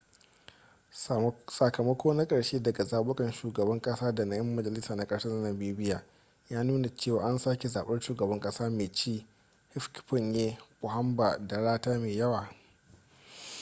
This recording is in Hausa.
sakamako na karshe daga zabukan shugaban kasa da na 'yan majalisa na ƙasar namibia ya nuna cewa an sake zaɓar shugaban kasa mai ci hifikepunye pohamba da rata mai yawa